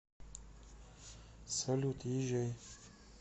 салют езжай